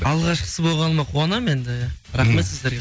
алғашқысы болғаныма қуанамын енді иә рахмет сіздерге